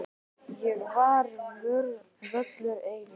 Hér ég völur eygi.